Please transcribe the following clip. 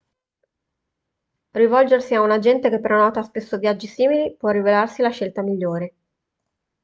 rivolgersi a un agente che prenota spesso viaggi simili può rivelarsi la scelta migliore